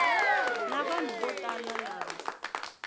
na vanhu vo tala lava